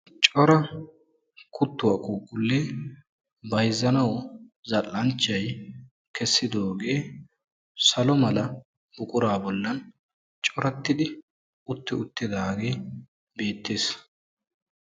Cora kuttuwaa quuqulle bayzzanaw zall"anchay kessidoogee salo mala buquraa bollan corattidi utti uttidaage beettes.